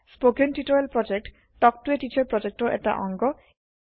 spoken tutorial প্ৰকল্প talk to a teacher প্ৰকল্পৰ এটা অংগ